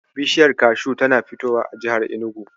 Bishiyar kashu tana fitowa a jihar Enugu.